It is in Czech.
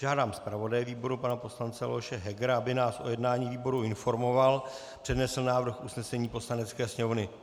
Žádám zpravodaje výboru pana poslance Leoše Hegera, aby nás o jednání výboru informoval, přednesl návrh usnesení Poslanecké sněmovny.